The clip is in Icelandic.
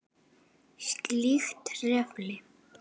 Slíkt trufli.